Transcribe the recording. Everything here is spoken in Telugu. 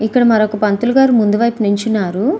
ఇక్కడ మరొక పంతులుగారు ముందు వైపుగా నిల్చున్నారు.